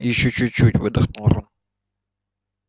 ещё чуть-чуть выдохнул рон